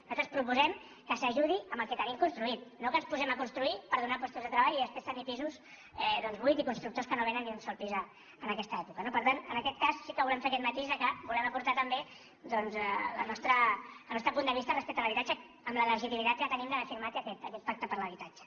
nosaltres proposem que s’ajudi amb el que tenim construït no que ens posem a construir per donar llocs de treball i després tenir pisos doncs buits i constructors que no vénen ni un sol pis en aquesta època no per tant en aquest cas sí que volem fer aquest matís que volem aportar també doncs el nostre punt de vista respecte l’habitatge amb la legitimitat que tenim d’haver firmat aquest pacte per l’habitatge